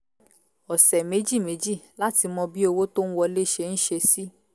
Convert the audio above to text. ọ̀sẹ̀ méjì méjì láti mọ bí owó tó ń wọlé ṣe ń ṣe sí